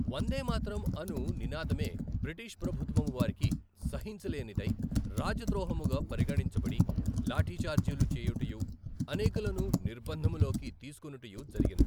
వందేమాాతరం అను నినాదమే బ్రిటిష్ ప్రభుత్వము వారికి సహించలేనిదై రాజద్రోహముగా పరిగణించబడి లాఠీఛార్జీలు చేయుటయు అనేకులను నిర్బందములోకి తీసుకునుటయూ జరిగెను.